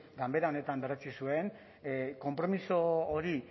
ganbera honetan berretsi zuen konpromiso hori